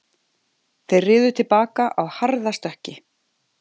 Þeir riðu til baka á harðastökki